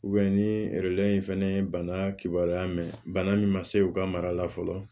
ni in fɛnɛ ye bana kibaruya mɛn bana min ma se u ka mara la fɔlɔ